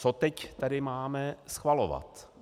Co teď tady máme schvalovat?